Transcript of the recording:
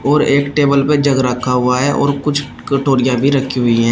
और एक टेबल पे जग रखा हुआ है और कुछ कटोरिया भी रखी हुई है।